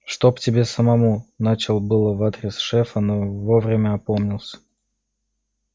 чтоб тебе самому начал было в адрес шефа но вовремя опомнился